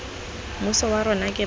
mmuso wa rona ke batho